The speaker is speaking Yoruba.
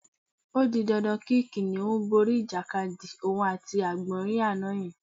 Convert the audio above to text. O di dandan kí kìnìún borí ìjàkadì òun àti àgbò̩nrín àná ye̩n